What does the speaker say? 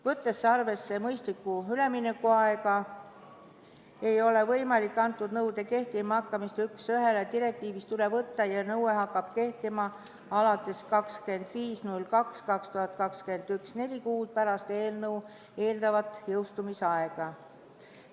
Võttes arvesse mõistlikku üleminekuaega, ei ole võimalik antud nõude kehtima hakkamist üks ühele direktiivist üle võtta ja nõue hakkab kehtima 25. veebruaril 2021, neli kuud pärast eelnõu eeldatavat jõustumise aega.